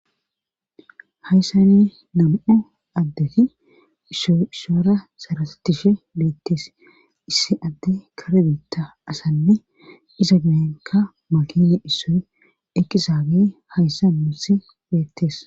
hayssani nam'u addeti issoy isora sarasetishe beettees issi adde karebitta asanne iza ginenka makini issoy ekisaage hayssa nuussi beettees